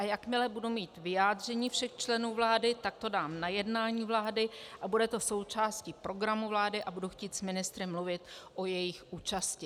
A jakmile budu mít vyjádření všech členů vlády, tak to dám na jednání vlády a bude to součástí programu vlády a budu chtít s ministry mluvit o jejich účasti."